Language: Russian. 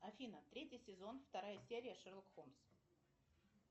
афина третий сезон вторая серия шерлок холмс